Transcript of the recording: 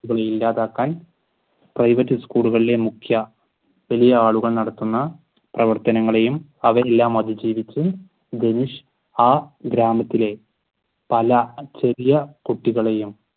ഇല്ലാതാക്കാൻ private school കളിലെ മുഖ്യ വലിയ ആളുകൾ നടത്തുന്ന പ്രവത്തനങ്ങളെയും അവയെല്ലാം അതിജീവിച്ചു ധനുഷ് ആ ഗ്രാമത്തിലെ പല ചെറിയ കുട്ടികളെയും